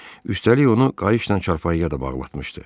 Üstəlik, onu qayışla çarpayıya da bağlatmışdı.